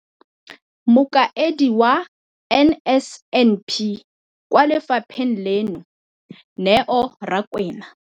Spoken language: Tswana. Mokaedi wa NSNP kwa lefapheng leno, Neo Rakwena,